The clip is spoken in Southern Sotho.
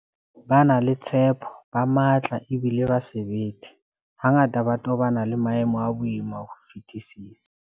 Ba na le tshepo, ba matla ebile ba sebete, hangata ba tobana le maemo a boima ka ho fetisisa.